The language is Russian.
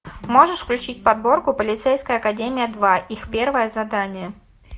можешь включить подборку полицейская академия два их первое задание